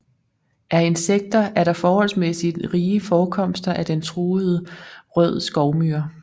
Af insekter er der forholdsmæssigt rige forekomster af den truede rød skovmyre